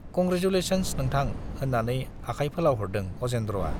Congratulations नोंथां - होन्नानै आखाय फोलावहरदों अजेन्द्रआ।